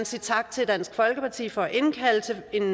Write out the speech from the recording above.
sige tak til dansk folkeparti for at indkalde til en